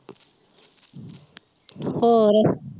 ਹੋਰ